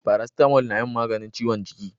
Farasitamo na yin maganin ciwon jiki